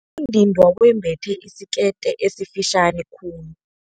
ndindwa wembethe isikete esifitjhani khulu.